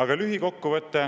Aga lühikokkuvõte